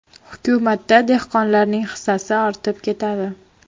Hukumatda dehqonlarning hissasi ortib ketadi.